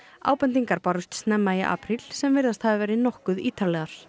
ábendingar bárust snemma í apríl sem virðast hafa verið nokkuð ítarlegar